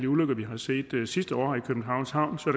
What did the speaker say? ulykker vi har set sidste år i københavns havn så